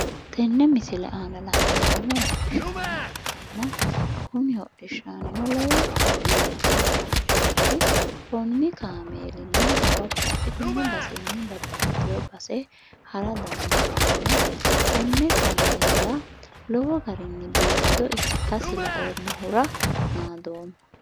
Tenne misile aana la'neemmohu hodhishshaanna ikkanna kuni hodhishshaannino lowonta biifanno kaameelaati. Konni kaameelinni babbaxxitinno basenni babbaxxitino base hara dandiineemmo. Konne kaameela lowo garinni biifado ikkasi laoommahura naadoomma.